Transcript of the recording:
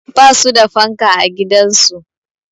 Ba su da fanka a gidansu